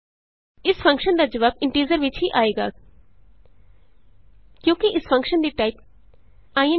ਇਸ ਫੰਕਸ਼ਨ ਦਾ ਜਵਾਬ ਇੰਟੀਜ਼ਰ ਵਿਚ ਹੀ ਆਏਗਾ ਕਿਉਂਕਿ ਇਸ ਫੰਕਸ਼ਨ ਦੀ ਟਾਈਪ ਇੰਟ ਹੈ